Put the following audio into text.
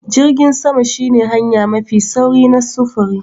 Jirgin sama shine hanya mafi sauri na sufuri.